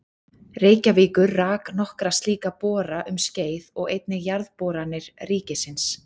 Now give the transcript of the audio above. Reykjavíkur rak nokkra slíka bora um skeið og einnig Jarðboranir ríkisins.